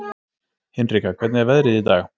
Hinrika, hvernig er veðrið í dag?